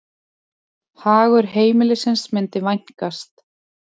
Hagur heimilisins myndi vænkast.